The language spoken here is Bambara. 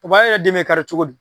Papaye yɛrɛ den mɛ kari cogo di?